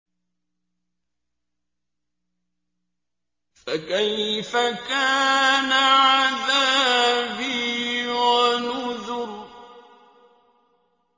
فَكَيْفَ كَانَ عَذَابِي وَنُذُرِ